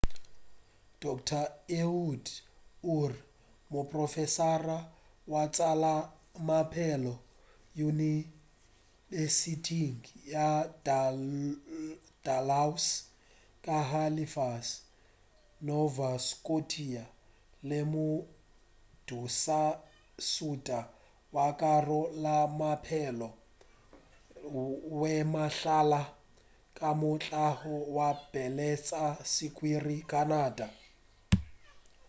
dr ehud ur moprofesara wa tša maphelo yunibesithing ya dalhousie ka halifax nova scotia le modulasetulo wa karolo ya maphelo le mahlale wa mokgahlo wa bolwetši bja swikiri wa canada ba lemošitše gore nyakišišo e sa le matšatšing a pele